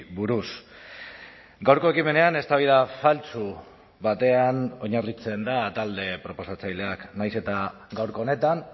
buruz gaurko ekimenean eztabaida faltsu batean oinarritzen da talde proposatzaileak nahiz eta gaurko honetan